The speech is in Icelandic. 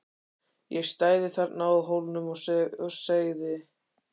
Ég stæði þarna á Hólnum og segði